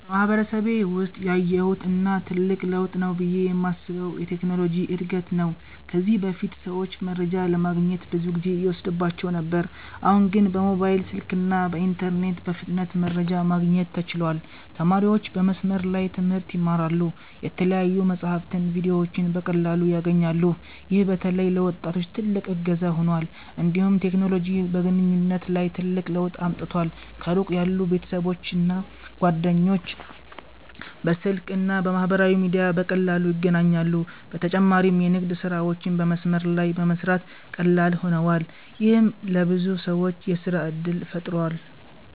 በማህበረሰቤ ውስጥ ያየሁት እና ትልቅ ለውጥ ነው ብዬ የማስበው የቴክኖሎጂ እድገት ነው። ከዚህ በፊት ሰዎች መረጃ ለማግኘት ብዙ ጊዜ ይወስድባቸው ነበር፤ አሁን ግን በሞባይል ስልክና በኢንተርኔት በፍጥነት መረጃ ማግኘት ተችሏል። ተማሪዎች በመስመር ላይ ትምህርት ይማራሉ፣ የተለያዩ መጻሕፍትና ቪዲዮዎችንም በቀላሉ ያገኛሉ። ይህ በተለይ ለወጣቶች ትልቅ እገዛ ሆኗል። እንዲሁም ቴክኖሎጂ በግንኙነት ላይ ትልቅ ለውጥ አምጥቷል። ከሩቅ ያሉ ቤተሰቦችና ጓደኞች በስልክ እና በማህበራዊ ሚዲያ በቀላሉ ይገናኛሉ። በተጨማሪም የንግድ ስራዎች በመስመር ላይ በመስራት ቀላል ሆነዋል፣ ይህም ለብዙ ሰዎች የሥራ እድል ፈጥሯል።